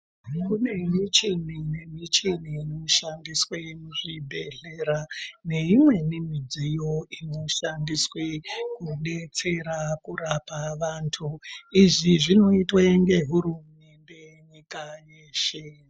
Kune micheni nemicheni inoshandiswe muzvibhehlera neimweini midziyo inoshandiswe kudetsera kurapa vantu, izvi zvinoitwe ngehurumende nyika yeshe.